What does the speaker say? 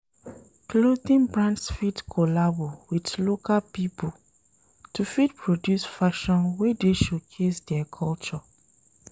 Clothing brands fit collabo with local pipo to fit produce fashion wey dey showcase their culture